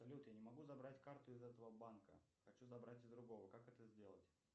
салют я не могу забрать карту из этого банка хочу забрать из другого как это сделать